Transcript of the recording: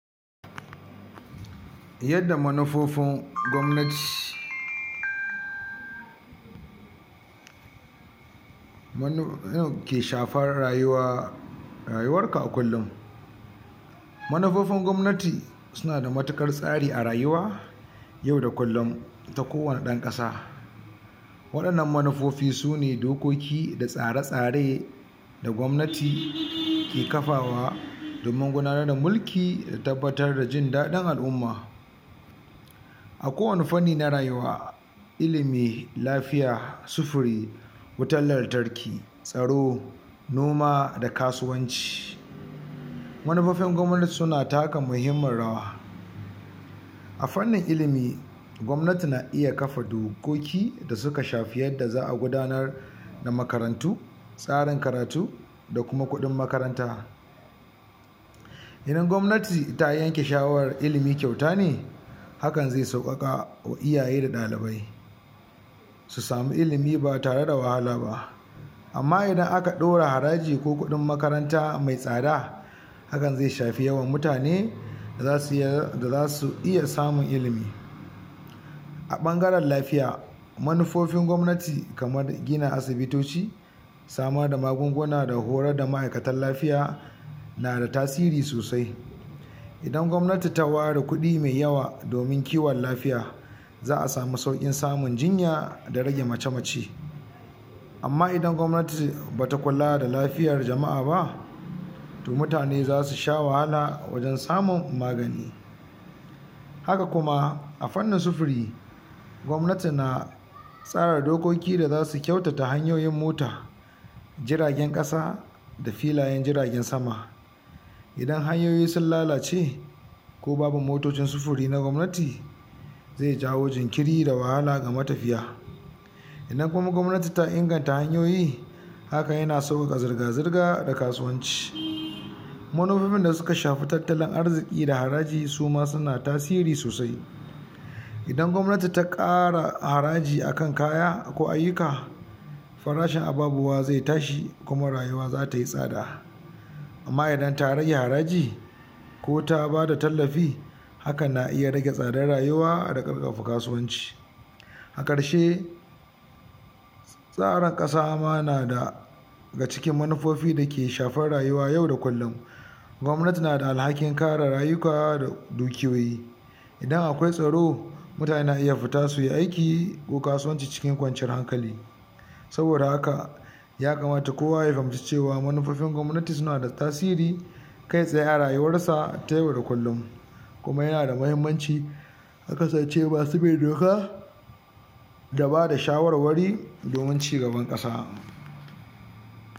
yadda manufofin gwamnati munu ke shafar rayuwa rayuwarka a kullun manufofin gwamnati suna da matuƙar stari a rayuwa yauda kullun ta ko wane ɗan ƙasa waɗannan manufofi sune dokoki da tsare-tsare da gwamnati ke kafawa domin gudanar da mulki da tabbatar da ji daɗin al'umma. a kowane fanni na rayuwa ilimi, lafiya, sufuri, wutan lantarki, tsaro, noma da kasuwanci manufofin gwamnati suna taka mahimmin rawa a fannin ilimi gwamnati na iya kafa dokoki da suka shafi yadda za'a gudanar da makarantu tsarin karatu da kuma kuɗin makaranta idan gwamnati ta yanke shawarar ilimi kyauta ne hakan zai sauƙaƙawa iyaye da ɗalibai su samu ilimi ba tare da wahala ba amma idan aka ɗora haraji ko kuɗin makaranta mai tsada hakan zai shafi yawan mutane da zasu da zasu iya samun ilimi a ɓangaren lafiya manufofin gwamnati kamar gina asibitoci samar da magunguna da horar da ma'aikatan lafiya nada tasiri sosai idan gwamnati ta ware kuɗi mai yawa domin kiwon lafiya za'a samu sauƙin samun jinya da rage mace-mace amma idan gwamnati bata kula da lafiyar jama'a ba to mutane zasu sha wahala wajen samun magani haka kuma a fannin sufuri gwamnati na tsara dokoki da zasu kyautata hanyoyin mota jiragen ƙasa da filayen jiragen sama idan hanyoyi sun lalace ko babu motocin sufuri na gwamnati zai jawo jinkiri da wahala ga matafiya idan kuma gwamnati ta inganta hanyoyi hakan yana sauƙaƙa zirga-zirga da kasuwanci manufofin da suka shafi tattalin arziƙi da haraji suma suna tasiri sosai idan gwamnati ta ƙara haraji akan kaya ko ayyuka farashi ababuwa zai tashi kuma rayuwa zatayi tsada amma idan ta rage haraji ko ta bada tallafi hakan na iya rage tsadar rayuwa da ƙarfafa kasuwanci. a ƙarshe tsara ƙasa ma na daga cikin manufofi dake shafar rayuwa yau da kullun gwamnati nada alhakin kare rayuka da dukiyoyi idan akwai tsaro mutane na iya fita suyi aiki ko kasuwanci cikin kwanciyar hankali saboda haka ya kamata kowa ya gamsu cewa manufofin gwamnati sunada tasiri kai tsaye a rayuwarsa ta yau da kullun kuma yana da mahimmanci a kasance masu bin doka da bada shawarwari domin ci gaban ƙasa.